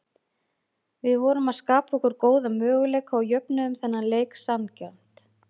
Við vorum að skapa okkur góða möguleika og jöfnuðum þennan leik sanngjarnt.